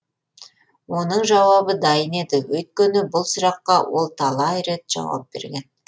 оның жауабы дайын еді өйткені бұл сұраққа ол талай рет жауап берген